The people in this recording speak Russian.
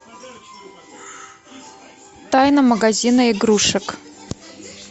тайна магазина игрушек